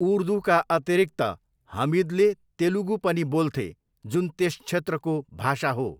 उर्दूका अतिरिक्त, हमिदले तेलुगु पनि बोल्थे, जुन त्यस क्षेत्रको भाषा हो।